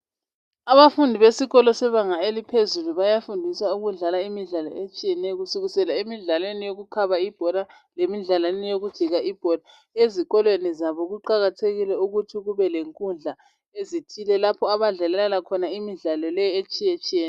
Abafundi besikolo sebanga eliphezulu bayafundiswa ukudlala imidlalo etshiyeneyo. Kusukisela emidlalweni yokukhaba ibhola , lemidlalweni yokujika ibhola. Ezikolweni zabo kuqakathekile ukuthi kube lenkundla ezithile. Lapha abadlalela khona imidlalo le, etshiyetshiyeneyo.